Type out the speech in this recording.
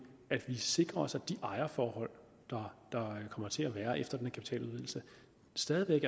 sikrer os at de ejerforhold der kommer til at være efter den her kapitaludvidelse stadig væk